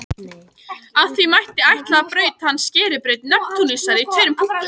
Af því mætti ætla að braut hans skeri braut Neptúnusar í tveimur punktum.